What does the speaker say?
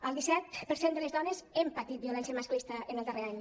el disset per cent de les dones hem patit violència masclista en el darrer any